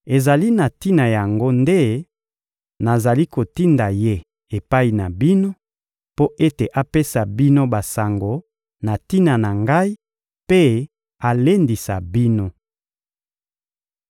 Ezali na tina yango nde nazali kotinda ye epai na bino, mpo ete apesa bino basango na tina na ngai mpe alendisa bino.